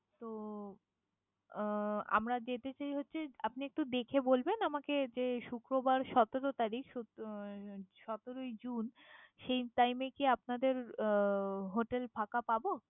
তো আহ আমরা যেতে চাই হচ্ছে আপনি একটু দেখে বলবেন আমাকে যে শুক্রবার সতেরো তারিখ শুক্র উম সতেরো ই June সেই time এ কি আপনাদের আহ hotel ফাঁকা পাবো?